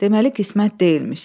Deməli qismət deyilmiş.